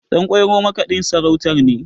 Ɗanƙwairo makaɗin sarautar ne